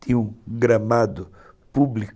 Tinha um gramado público